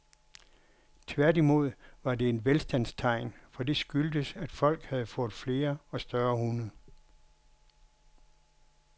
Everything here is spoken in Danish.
Tværtimod var det et velstandstegn, for det skyldtes, at folk havde fået flere og større hunde.